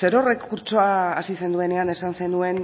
zerorrek kurtsoa hasi zenuenean esan zenuen